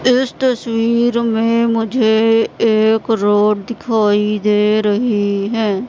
इस तस्वीर में मुझे एक रोड दिखाई दे रही है।